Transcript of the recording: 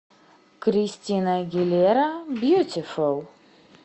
кристина агилера бьютифул